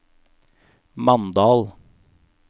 Mandal